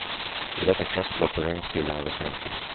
I detta kretslopp är regnskogarna väsentliga.